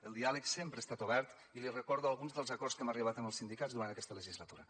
el diàleg sempre ha estat obert i li recordo alguns dels acords a què hem arribat amb els sindicats durant aquesta legislatura